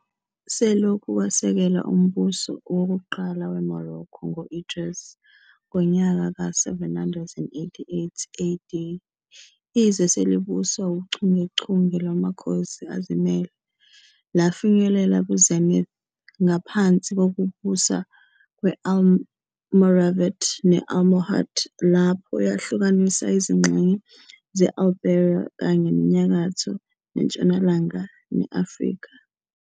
Selokhu kwasekelwa umbuso wokuqala weMorocco ngo-Idris I ngonyaka ka 788 AD, izwe selibuswa uchungechunge lwamakhosi azimele, lafinyelela ku-zenith ngaphansi kokubusa kwe-Almoravid ne-Almohad, lapho yahlukanisa izingxenye ze-Iberia kanye nenyakatho nentshonalanga ne-Afrika.